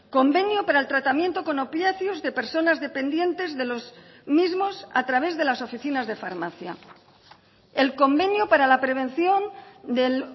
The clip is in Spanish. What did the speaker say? convenio para el tratamiento con opiáceos de personas dependientes de los mismos a través de las oficinas de farmacia el convenio para la prevención del